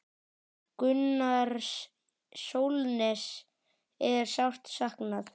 Gunnars Sólnes er sárt saknað.